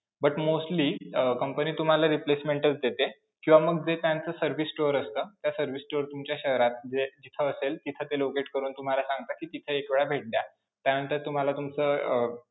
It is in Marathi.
But mostly company तुम्हाला replacement च देते किंवा मग जे त्यांचं service store असतं, त्या service store तुमच्या शहरात, जे जिथं असेल, तिथं ते locate करून तुम्हाला सांगतात कि तिथे एक वेळा भेट द्या त्यानंतर तुम्हाला तुमचं अं